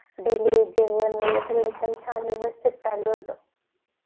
daily छान वेवस्तीत चालू होत